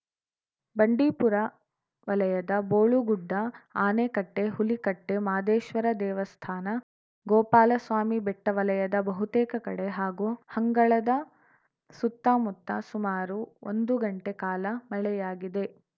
ಬಂಡೀಪುರ ವಲಯದ ಬೋಳುಗುಡ್ಡ ಆನೆಕಟ್ಟೆ ಹುಲಿ ಕಟ್ಟೆ ಮಾದೇಶ್ವರ ದೇವಸ್ಥಾನ ಗೋಪಾಲಸ್ವಾಮಿ ಬೆಟ್ಟವಲಯದ ಬಹುತೇಕ ಕಡೆ ಹಾಗೂ ಹಂಗಳದ ಸುತ್ತ ಮುತ್ತ ಸುಮಾರು ಒಂದು ಗಂಟೆ ಕಾಲ ಮಳೆಯಾಗಿದೆ